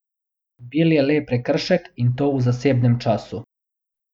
Bil je le prekršek, in to v zasebnem času.